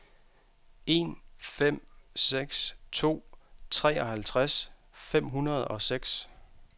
en fem seks to treoghalvtreds fem hundrede og seks